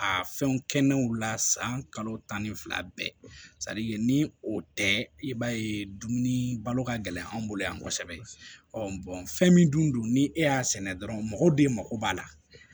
A fɛnw kɛnenw la san kalo tan ni fila bɛɛ ni o tɛ i b'a ye dumuni balo ka gɛlɛn anw bolo yan kosɛbɛ fɛn min dun don ni e y'a sɛnɛ dɔrɔn mɔgɔw de mako b'a la